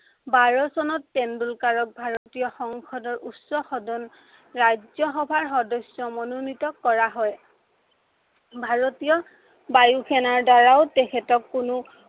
বাৰ চনত তেণ্ডলুকাৰক ভাৰতীয় সংসদৰ উচ্চ সদন ৰাজ্য় সভাৰ সদস্য় মনেনীত কৰা হয়। ভাৰতীয় বায়ু সেনাৰ দ্বাৰাও তেখেতক কোনো